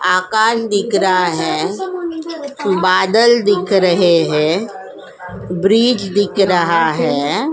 आकाश दिख रहा है बादल दिख रहे हैं ब्रीज दिख रहा है।